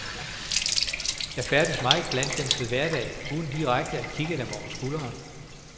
Jeg færdes meget blandt dem til hverdag uden direkte at kikke dem over skulderen.